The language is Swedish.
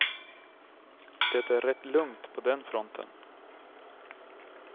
Det är rätt lugnt på den fronten.